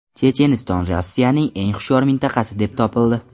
Checheniston Rossiyaning eng hushyor mintaqasi deb topildi.